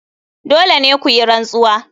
Dole ne ku yi rantsuwa.